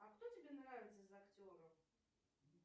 а кто тебе нравится из актеров